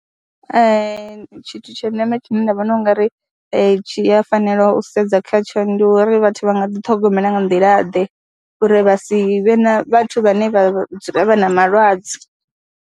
Tshithu tsha ndeme tshine nda vhona u nga ri tshi a fanela u sedza khatsho ndi uri vhathu vha nga ḓiṱhogomela nga nḓilaḓe uri vha si vhe na vhathu vhane vha dzula vha na malwadze.